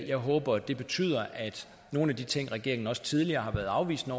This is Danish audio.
jeg håber det betyder at nogle af de ting regeringen også tidligere har afvist at